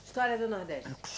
História do Nordeste.